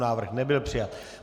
Návrh nebyl přijat.